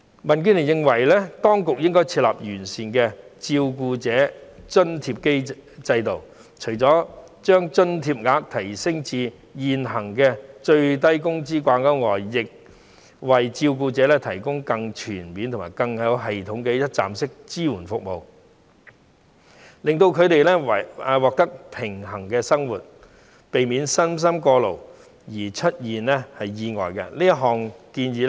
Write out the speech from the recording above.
民建聯認為，當局應該設立完善的照顧者津貼制度，除了把津貼額提升至與現行最低工資水平掛鈎外，亦應為照顧者提供更全面及更有系統的一站式支援服務，令他們獲得平衡的生活，避免身心過勞而出現意外。